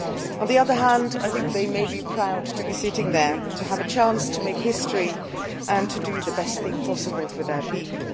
On the other hand I think they may be proud to be sitting there to have a chance to make history and do the best thing possible for their people.